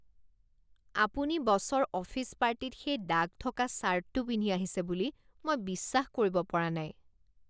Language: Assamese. আপুনি বছৰ অফিচ পাৰ্টিত সেই দাগ থকা ছাৰ্টটো পিন্ধি আহিছে বুলি মই বিশ্বাস কৰিব পৰা নাই।